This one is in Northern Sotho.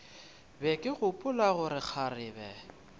be ke gopola gore kgarebe